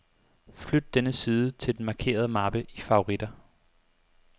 Flyt denne side til den markerede mappe i favoritter.